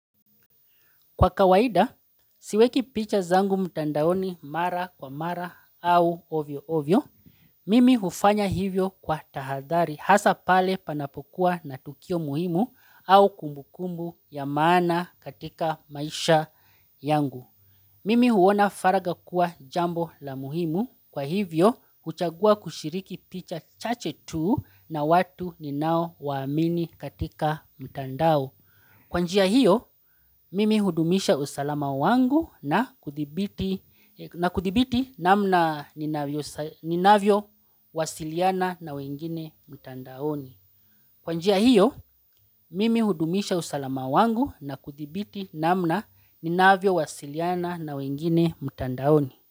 Kwa kawaida, siweki picha zangu mtandaoni mara kwa mara au ovyo ovyo, mimi hufanya hivyo kwa tahadhari hasa pale panapokuwa na tukio muhimu au kumbukumbu ya maana katika maisha yangu. Mimi huona faragha kuwa jambo la muhimu, kwa hivyo huchagua kushiriki picha chache tu na watu ninaowaamini katika mtandao. Kwa njia hiyo, mimi hudumisha usalama wangu na kuthibiti namna ninavyo ninavyo wasiliana na wengine mtandaoni kwa njia hio mimi hudumisha usalama wangu na kudhibiti namna ninavyowasiliana na wengine mtandaoni.